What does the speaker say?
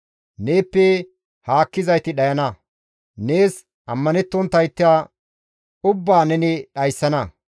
Neeppe haakkizayti dhayana; nees ammanettonttayta ubbaa neni dhayssana.